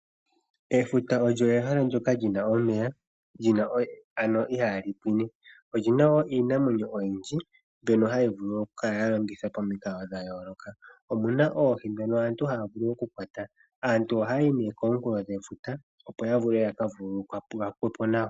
Efuta olyo ehala ndyoka lina omeya, ano ihaali pwine. Olina woo iinamwenyo oyindji mbyono hayi vulu okukala ya longithwa pamikalo dha yooloka. Omuna oohi dhoka aantu haya vulu oku kwata. Aantu ohayayi nee komunkulo gwefuta opo ya vule yaka vululukwepo nawa.